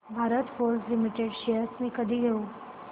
Bharat Forge Limited shares मी कधी घेऊ